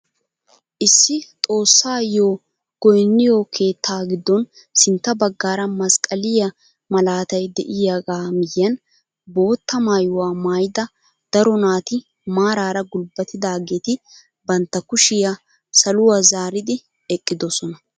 Issi xoossayoo goyniyoo keettaa giddon sitta baggaara masqqaliyaa malatay de'iyaagaa miyiyaan bootta maayuwaa maayida daro naati maarara gulbbatidaageti bantta kushiyaa saluwaa zaaridi eqqidosona!